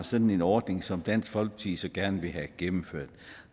sådan ordning som dansk folkeparti så gerne vil have gennemført